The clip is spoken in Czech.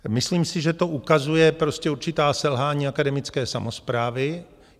Myslím si, že to ukazuje určitá selhání akademické samosprávy.